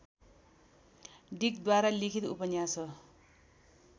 डिकद्वारा लिखित उपन्यास हो